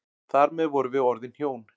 Þar með vorum við orðin hjón.